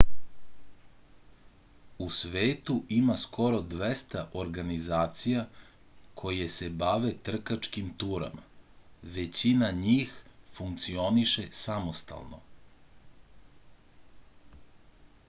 u svetu ima skoro 200 organizacija koje se bave trkačkim turama većina njih funkcioniše samostalno